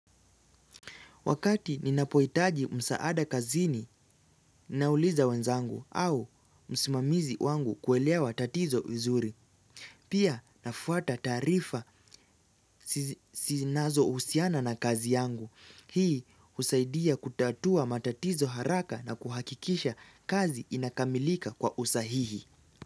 Wakati ninapohitaji msaada kazini, nauliza wenzangu au msimamizi wangu kuelewa tatizo vizuri. Pia nafuata taarifa zinazohusiana na kazi yangu. Hii husaidia kutatua matatizo haraka na kuhakikisha kazi inakamilika kwa usahihi.